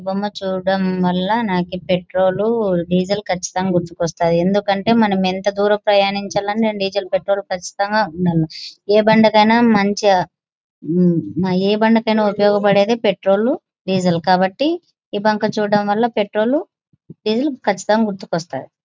ఈ బొమ్మ చూడటం వల్ల నాకు పెట్రోలు డీజిల్ కచ్చితంగా గుర్తొకోస్తాయి. ఎందుకంటే మనం ఎంత దూరం ప్రయాణించాలన్న డీజీల్ పెట్రోల్ కచ్చితంగా ఉండాలి. ఏ బండికైన మంచి మ్మ్ ఆ ఏ బండికైన ఉపయోగపడేది పెట్రోల్ డీజీల్ కాబట్టి ఈ బంక్ చూడటం వల్ల పెట్రోల్ డీజీల్ కచ్చితంగా గుర్తొస్తాయి.